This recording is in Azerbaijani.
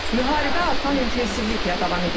Müharibə artan intensivliklə davam edir.